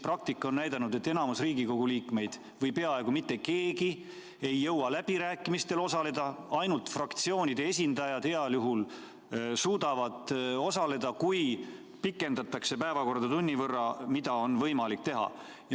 Praktika on näidanud, et enamik Riigikogu liikmeid või peaaegu mitte keegi ei saa läbirääkimistel osaleda, ainult fraktsioonide esindajad heal juhul suudavad osaleda, kui pikendatakse päevakorda tunni võrra, mida on võimalik teha.